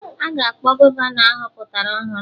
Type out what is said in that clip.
Aga akpọ Gọvanọ ahọpụtara ọhụrụ